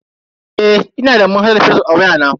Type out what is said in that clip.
Eh, ina da manhajar fazbuk a waya na.